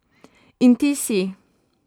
In ti si.